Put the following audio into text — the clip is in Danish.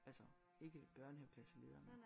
Altså ikke børnehaveklasseleder